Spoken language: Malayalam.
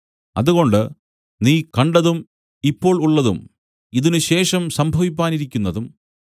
അതുകൊണ്ട് നീ കണ്ടതും ഇപ്പോൾ ഉള്ളതും ഇതിനുശേഷം സംഭവിപ്പാനിരിക്കുന്നതും